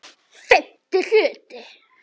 FIMMTI HLUTI